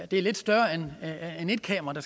det er lidt større end at et kamera